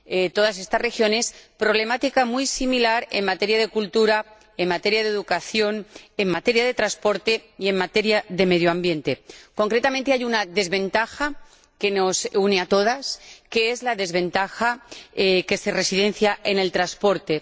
Todas estas regiones comparten una problemática muy similar en materia de cultura, en materia de educación, en materia de transporte y en materia de medio ambiente. Concretamente, hay una desventaja que nos une a todas, que es la desventaja en materia de transporte.